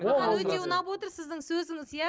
маған өте ұнап отыр сіздің сөзіңіз иә